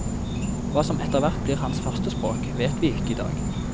Hva som etterhvert blir hans førstespråk, vet vi ikke i dag.